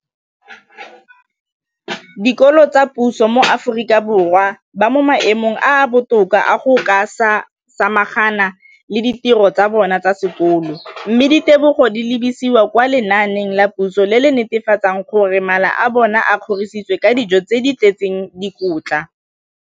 dikolo tsa puso mo Aforika Borwa ba mo maemong a a botoka a go ka samagana le ditiro tsa bona tsa sekolo, mme ditebogo di lebisiwa kwa lenaaneng la puso le le netefatsang gore mala a bona a kgorisitswe ka dijo tse di tletseng dikotla.